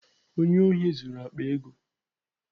Onye ohi zuru akpa ego.